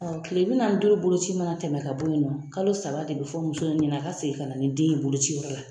kile bi nanni ni duuru boloci mana tɛmɛ ka bɔ yen nɔ, kalo saba de bɛ fɔ muso in ɲɛnɛ a ka segin ka na ni den in ye boloci yɔrɔ la.